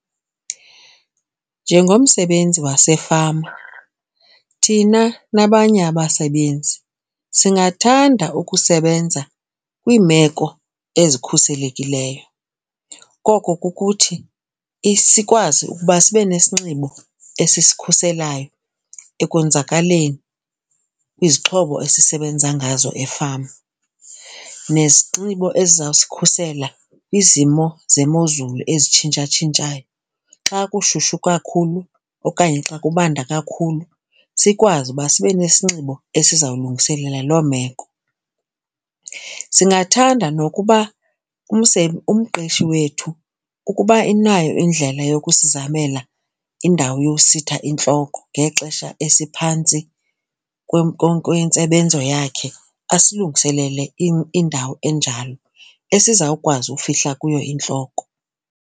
Njengomsebenzi wasefama thina nabanye abasebenzi singathanda ukusebenza kwiimeko ezikhuselekileyo. Koko kukuthi sikwazi ukuba sibe nesinxibo esisikhuselayo ekonzakaleni kwizixhobo esisebenza ngazo efama nezinxibo ezizawusikhusela kwizimo zemozulu ezitshintshatshintshayo. Xa kushushu kakhulu okanye xa kubanda kakhulu sikwazi ukuba sibe nesinxibo esizawulungiselela loo meko. Singathanda nokuba umqeshi wethu ukuba unayo indlela yokusizamela indawo yositha intloko ngexesha esiphantsi kwentsebenzo yakhe asilungiselele indawo enjalo esizawukwazi ukufihla kuyo iintloko.